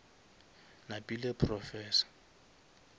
napile professor